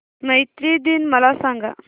मैत्री दिन मला सांगा